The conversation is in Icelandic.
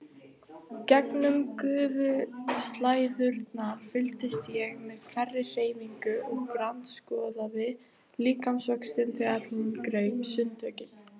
Gegnum gufuslæðurnar fylgdist ég með hverri hreyfingu og grandskoðaði líkamsvöxtinn þegar hún greip sundtökin.